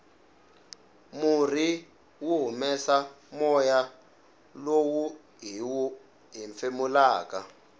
murhi wu humesa moya lowu hiwu hefemulaka